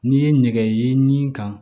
N'i ye nɛgɛ ye nin kan